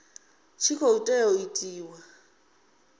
tshi khou tea u itiwa